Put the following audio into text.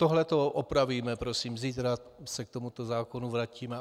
Tohle to opravíme, prosím, zítra se k tomuto zákonu vrátíme.